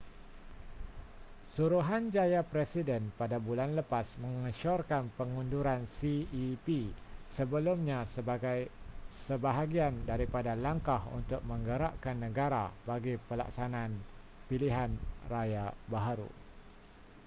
suruhanjaya presiden pada bulan lepas mengesyorkan pengunduran cep sebelumnya sebagai sebahagian daripada langkah untuk menggerakkan negara bagi pelaksanaan pilihan raya baharu